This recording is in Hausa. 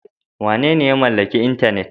Wanene ya mallaki intanet?